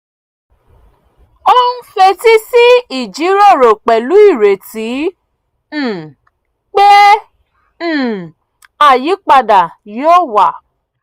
ó ń fetí sí ìjíròrò pẹ̀lú ireti um pé um àyípadà yóò wá